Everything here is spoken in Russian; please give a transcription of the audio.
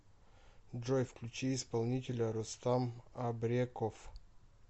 джой включи исполнителя рустам абреков